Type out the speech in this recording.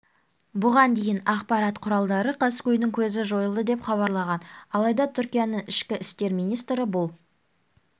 бұған дейін ақпарат құралдары қаскөйдің көзі жойылды деп хабарлаған алайда түркияның ішкі істер министрі бұл